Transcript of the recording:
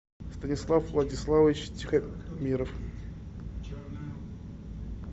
станислав владиславович тихомиров